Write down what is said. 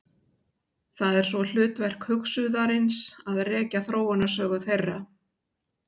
Það er svo hlutverk hugsuðarins að rekja þróunarsögu þeirra.